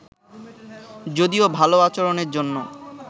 যদিও ভালো আচরণের জন্য